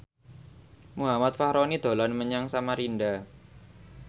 Muhammad Fachroni dolan menyang Samarinda